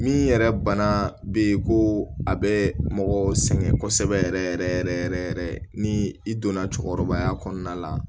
Min yɛrɛ bana be yen ko a bɛ mɔgɔ sɛgɛn kosɛbɛ yɛrɛ yɛrɛ yɛrɛ ni i donna cɛkɔrɔbaya kɔnɔna la